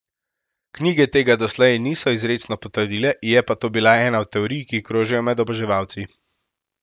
Knjige tega doslej niso izrecno potrdile, je pa to bila ena od teorij, ki krožijo med oboževalci.